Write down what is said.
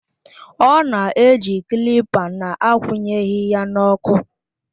Ọ na-eji kilipa na-akwụnyeghị ya n'ọkụ